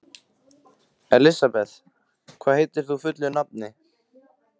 Elisabeth, hvað heitir þú fullu nafni?